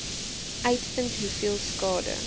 uitvind hoeveel skade